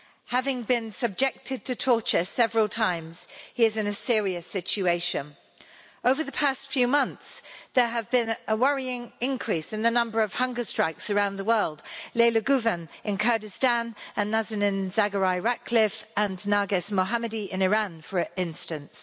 Having been subjected to torture several times, he is in a serious situation. Over the past few months, there has been a worrying increase in the number of hunger strikes around the world Leyla Güven, in Kurdistan and Nazanin Zaghari Ratcliffe and Narges Mohammadi in Iran, for instance.